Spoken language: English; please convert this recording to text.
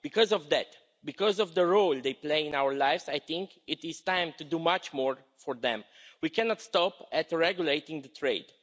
Because of that because of the role they play in our lives I think it is time to do much more for them. We cannot stop at regulating the trade.